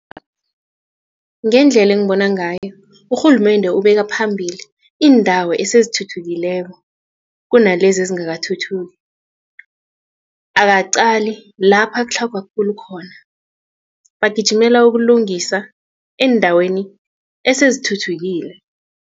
Ngendlela engibona ngayo urhulumende ubeka phambili iindawo esezithuthukileko kunalezi ezingakathuthuki akaqali lapha kutlhagwa khulu khona bagijimela ukulungisa eendaweni esezithuthukile.